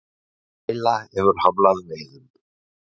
Bræla hefur hamlað veiðum